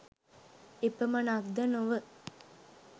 එපමණක්ද නොව